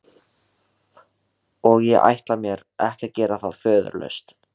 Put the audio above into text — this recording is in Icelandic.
Og ég ætla mér ekki að gera það föðurlaust.